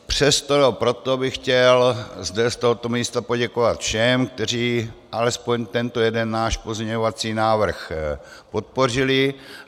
Přesto, nebo proto bych chtěl zde z tohoto místa poděkovat všem, kteří alespoň tento jeden náš pozměňovací návrh podpořili.